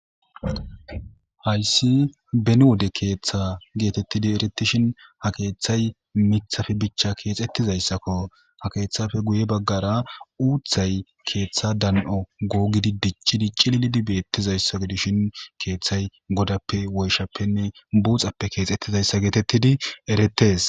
Hayisi beni wode keeththa getetidi eretishin ha keeththay miiththappe bicha kexetizaysakko. Keeththappe guye bagara Uuththay keeththa dan'o googidi dic'i dic'ididi betizaysa gidishin keeththay godappe,woyishshappenne buxsappe kexetidaysa getetidi eretes.